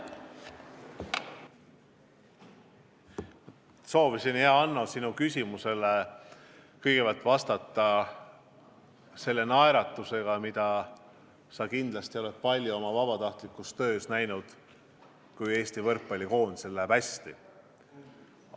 Ma soovisin, hea Hanno, sinu küsimusele kõigepealt vastata selle naeratusega, mida sa kindlasti oled palju oma vabatahtlikus töös näinud, kui Eesti võrkpallikoondisel on hästi läinud.